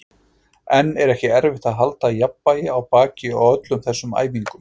En er ekki erfitt að halda jafnvægi á baki í öllum þessum æfingum?